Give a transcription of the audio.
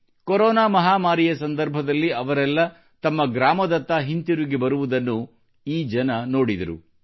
corona ಮಹಾಮಾರಿಯ ಸಂದರ್ಭದಲ್ಲಿ ಅವರೆಲ್ಲ ತಮ್ಮ ಗ್ರಾಮದತ್ತ ಹಿಂತಿರುಗಿ ಬರುವುದನ್ನು ಈ ಗ್ರಾಮದ ಜನರು ನೋಡಿದರು